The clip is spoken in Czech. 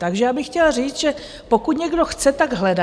Takže já bych chtěla říct, že pokud někdo chce, tak hledá.